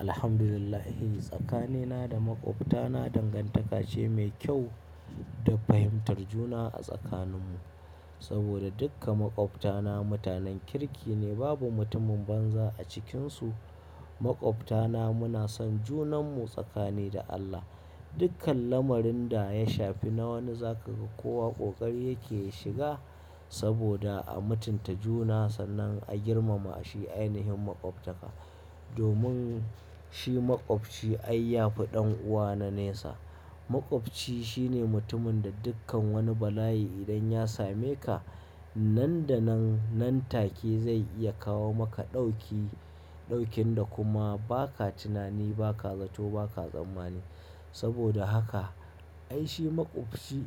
Alhamdulillah tsakanina da maƙwabtana dangantaka ce mai kyau da fahimtar juna a tsakaninmu. Saboda duka maƙwabtana mutanen kirki ne babu mutumin banza a cikinsu. Maƙwabtana muna san junanmu tsakani da Allah. Dukkan lamarin da ya shafi na wani zakaga ko waƙoƙari yake ya shiga saboda a mutunta juna sannan a girmama shi ainihin maƙwabtaka. Domin shi maƙwabci ai yafi ɗan'uwa na nesa. Maƙwabci shine mutumin da dukkan wani bala'i idan ya same ka nan da nan nan take zai iya kawo maka ɗauki, ɗaukin da kuma ba ka tunani ba ka zato ba ka tsammani. Saboda haka ai shi maƙwabci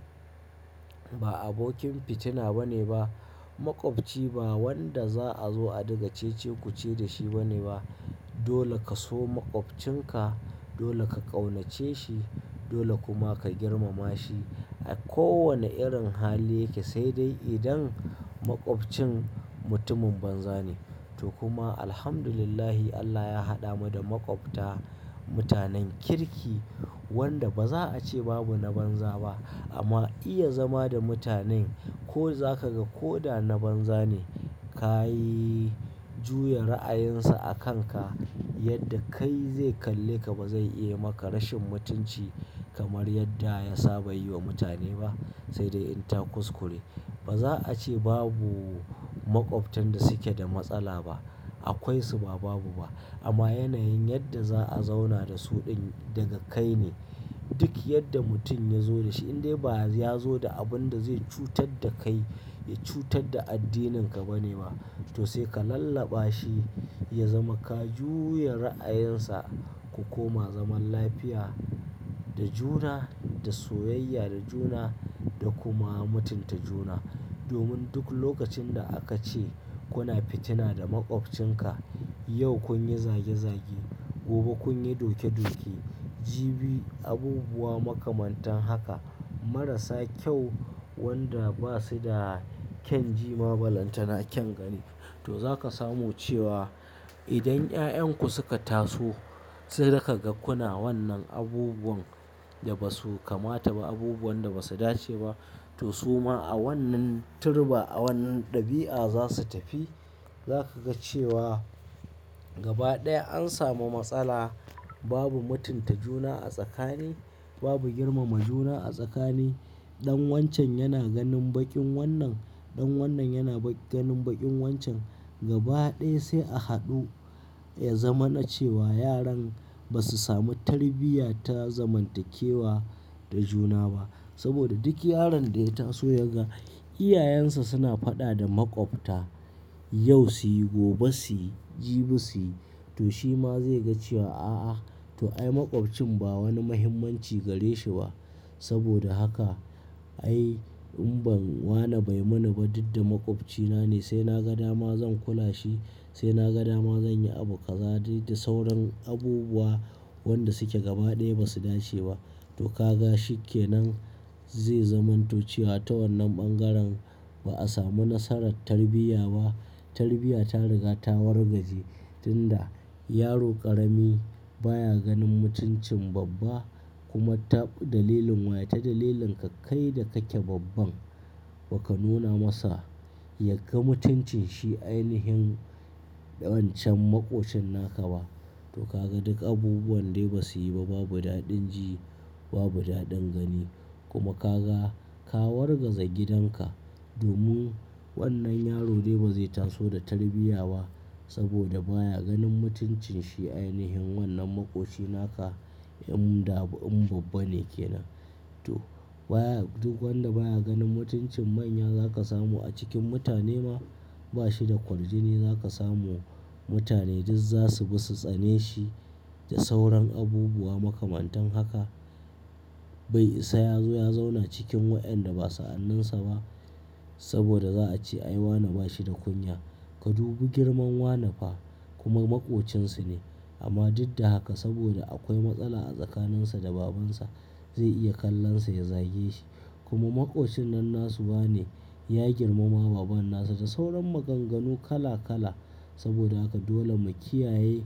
ba abokin fitina bane ba maƙwabci ba wanda za'a zo a diga cece kuce da shi bane ba. Dole ka so maƙwabcinka, dole ka ƙaunace shi, dole kuma ka girmama shi a kowane irin hali yake sai dai idan maƙwabcinka mutumin banza ne. To kuma Alhamdulillah Allah ya haɗa mu da maƙwabta mutanen kirki wanda baza a ce babu na banza ba amma iya zama da mutanen ko zakaga ko da na banza ne ka yi juya ra'ayinsa a kanka yadda kai zai kalle ka bazai iya maka rashin mutunci kamar yadda ya saba yi wa mutane ba sai dai in ta kuskure. Baza a ce babu maƙwabtan da suke da matsala ba akwaisu ba babu ba amma yanayin yadda za'a zauna da su ɗin daga kai ne. Duk yadda mutum ya zo da shi in dai ba ya zo da abun da zai cutar da kai ya cutar da addininka ba ne ba to sai ka lallaɓa shi ya zama ka juya ra'ayinsa ku koma zaman lafiya da juna da soyayya da juna da kuma mutunta juna. Domin duk lokacin da aka ce kuna fitina da maƙwabcinka yau kun yi zage zage gobe kun yi doke doke jibi abubuwa makamantan haka marasa kyau wanda basu da kyan jima ba lantana kyan gani. To zaka samu cewa idan 'ya'yanku suka taso sai daka ga kuna wannan abubuwan da basu kamata ba abubuwan da basu dace ba to suma a wannan turba a wannan ɗabi'a za su tafi. Zaka ga cewa gaba ɗaya an samu matsala babu mutunta juna a tsakani babu girmama juna a tsakani. Dan wancan yana ganin baƙin wannan, ɗan wannan yana ba ganin baƙin wancan. Gaba ɗaya sai a haɗu ya zamana ce wa yaran ba su samu tarbiyya ta zamantakewa da juna ba. Saboda duk yaron da ya taso ya ga iyayensa suna faɗa da maƙwabta yau su yi gobe su yi jibi su yi to shi ma zai ga cewa a'a to ai maƙwabcinka ba wani muhimmanci gare shi ba. Saboda haka ai in ban wana bai mana ba duk da maƙwabcina ne sai na ga dama zan kula shi sai na ga dama zan yi abu ka zagi da sauran abubuwa wanda suke gaba ɗaya ba su dace ba. To ka ga shi ke nan zai zamanto cewa ta wannan bangaren ba'a samu nasarar tarbiyya ba. Tarbiyya ta riga ta wargaje tun da yaro ƙarami baya ganin mutuncin babba kuma taɓu dalilin waye ta dalilin ka kai da kake babban baka nuna masa yake mutuncin shi ainihin wancan maƙocin naka ba. To ka ga duk abubuwan dai ba su yi ba babu daɗin ji babu daɗin gani kuma ka ga ka wargaza gidan ka domin wannan yaro dai ba zai taso da tarbiyya ba saboda baya ganin mutuncin shi ainihin wannan maƙoci naka in da in babba ne ke nan. To baya duk wanda baya ganin mutuncin manya zaka samu a cikin mutane ma bashi da kwaldine zaka samu mutane duk za su bi su tsane shi da sauran abubuwa makamantan haka. Bai isa ya zo ya zauna cikin waɗanda ba sa'anninsa ba saboda za a ce ai wana bashi da kunya ka dubi girman wana fa kuma maƙocinsa ne. Amma duk da haka saboda akwai matsala a tsakaninsa da babansa zai iya kallon sa ya zage shi kuma maƙocin nan nasu ba ne ya girmama baban nasa da sauran maganganu kala kala saboda haka dole mu kiyaye.